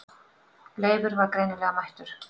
Leifur var greinilega mættur.